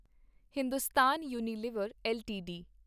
Hindustan Unilever LTD